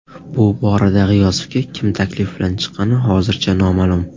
Bu borada G‘iyosovga kim taklif bilan chiqqani hozircha noma’lum.